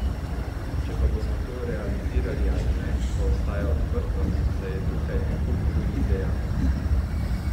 Če pa bomo to realizirali ali ne, pa ostaja odprto, saj je tukaj en kup drugih dejavnikov.